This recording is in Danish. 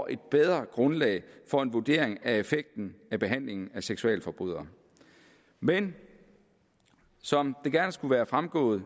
et bedre grundlag for at vurdere effekten af behandlingen af seksualforbrydere men som det gerne skulle være fremgået